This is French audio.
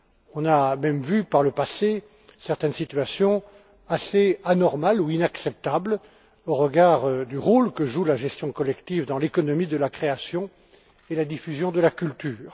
On a même vu par le passé certaines situations assez anormales ou inacceptables au regard du rôle que joue la gestion collective dans l'économie de la création et de la diffusion de la culture.